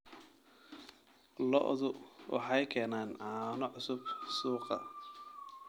Lo'du waxay keenaan caano cusub suuqa.